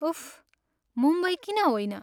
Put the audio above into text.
उफ्, मुम्बई किन होइन?